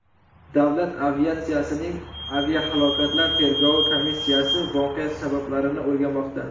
Davlat aviatsiyasining aviahalokatlar tergovi komissiyasi voqea sabablarini o‘rganmoqda.